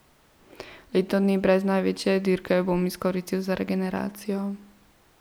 Leto dni brez največje dirke bom izkoristil za regeneracijo.